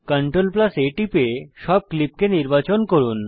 CTRLA টিপে সব ক্লিপকে নির্বাচন করুন